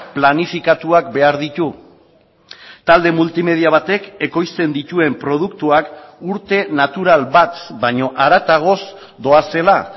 planifikatuak behar ditu talde multimedia batek ekoizten dituen produktuak urte natural bat baino haratagoz doazela